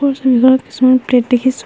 এই ছবিখনত কিছুমান প্লেট দেখিছোঁ।